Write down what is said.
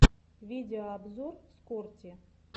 видеообзор скорти